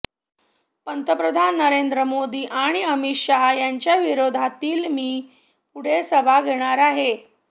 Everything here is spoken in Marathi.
पंतप्रधान नरेंद्र मोदी आणि अमित शहा यांच्या विरोधातील मी पुढे सभा घेणार आहे